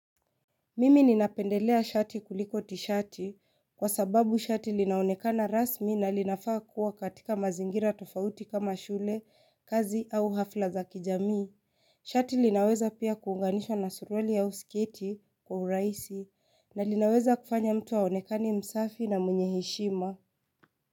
Mimi ninapendelea shati kuliko tishati kwa sababu shati linaonekana rasmi na linafaa kuwa katika mazingira tofauti kama shule, kazi au hafla za kijamii. Shati linaweza pia kuunganishwa na suruali au sketi kwa urahisi na linaweza kufanya mtu aonekane msafi na mwenye heshima.